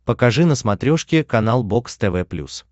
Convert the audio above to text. покажи на смотрешке канал бокс тв плюс